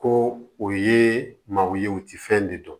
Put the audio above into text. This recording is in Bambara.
Ko o ye maaw ye u ti fɛn de dɔn